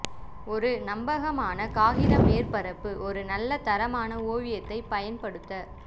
ஒரு நம்பகமான காகித மேற்பரப்பு ஒரு நல்ல தரமான ஓவியத்தை பயன்படுத்த